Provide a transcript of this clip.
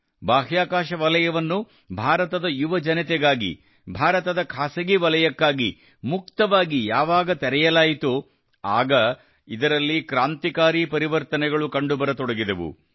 ಬಾಹ್ಯಾಕಾಶ ವಲಯವನ್ನು ಭಾರತದ ಯುವಜನತೆಗಾಗಿ ಭಾರತದ ಖಾಸಗಿ ವಲಯಕ್ಕಾಗಿ ಮುಕ್ತವಾಗಿ ಯಾವಾಗ ತೆರೆಯಲಾಯಿತೋ ಆಗ ಇದರಲ್ಲಿ ಕ್ರಾಂತಿಕಾರಿ ಪರಿವರ್ತನೆಗಳು ಕಂಡುಬರತೊಡಗಿದವು